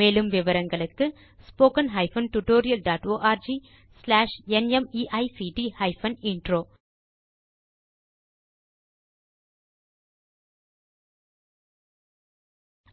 மேலும் விவரங்களுக்கு spoken hyphen tutorial dot org slash NMEICT hyphen intro